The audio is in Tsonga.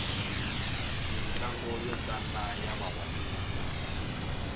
mitlangu yo tala ya vavanuna